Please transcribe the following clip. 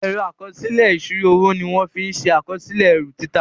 Ẹ̀rọ àkọsílẹ̀ ìsírò owó ní wón fín ṣe àkọsílẹ̀ erù títà.